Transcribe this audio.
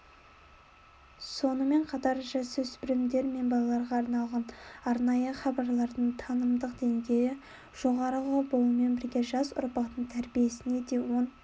сонымен қатар жасөспірімдер мен балаларға арналған арнайы хабарлардың танымдық деңгейі жоғары болумен бірге жас ұрпақтың тәрбиесіне де оң